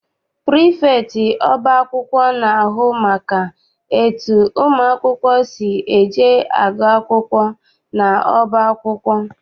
Prifektị ọba akwụkwọ na-ahụ maka etu ụmụ akwụkwọ si eje agụ akwụkwọ n'ọba akwụkwọ.